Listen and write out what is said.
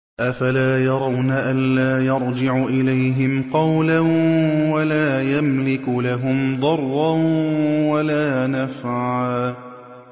أَفَلَا يَرَوْنَ أَلَّا يَرْجِعُ إِلَيْهِمْ قَوْلًا وَلَا يَمْلِكُ لَهُمْ ضَرًّا وَلَا نَفْعًا